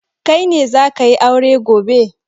Kai ne za ka yi aure gobe?